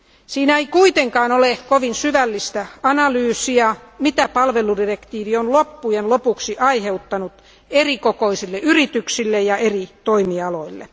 Siinä ei kuitenkaan ole kovin syvällistä analyysia siitä, mitä palveludirektiivi on loppujen lopuksi aiheuttanut erikokoisille yrityksille ja eri toimialoille.